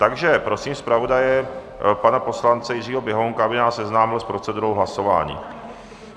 Takže prosím zpravodaje pana poslance Jiřího Běhounka, aby nás seznámil s procedurou hlasování.